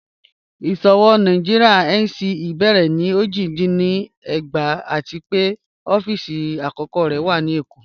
Iṣowo Nàìjíríà (NSE) bẹ̀rẹ̀ ni ojì dín ní ẹ̀gbàá àti pẹ̀ ọ̀fíìsì akọ̀kọ̀ rẹ̀ wà ni Ékó.